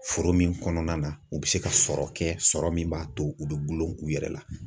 Foro min kɔnɔna na u bɛ se ka sɔrɔ kɛ sɔrɔ min b'a to u bɛ golo u yɛrɛ la.